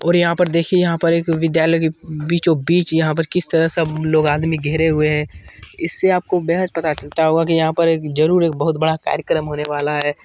और यहाँ पर देखिए यहाँ पर एक विद्यालय के बीचों-बीच यहाँ पर किस तरह सब लोग आदमी घेरे हुए हैं इससे आपको बेहद पता चलता होगा कि यहाँ पर एक जरूर एक बहोत बड़ा कार्यक्रम होने वाला है।